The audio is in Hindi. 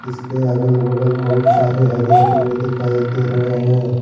इसके अगल बगल बहुत सारे हरे पेड़ दिखाई दे रहे हैं।